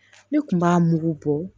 Ne kun b'a mugu bɔ